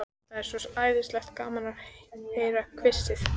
Það er svo æðislega gaman að heyra hvissið.